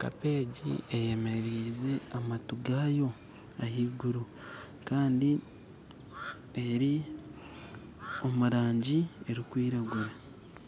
kapa egi eyemereize amatu gayo ahaiguru kandi eri omu rangi erikwiragura